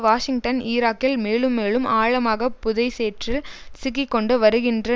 Washington ஈராகில் மேலும் மேலும் ஆழமாக புதை சேற்றில் சிக்கி கொண்டு வருகின்ற